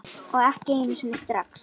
Og ekki einu sinni strax.